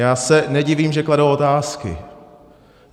Já se nedivím, že kladou otázky.